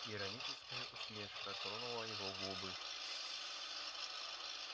ироническая усмешка тронула его губы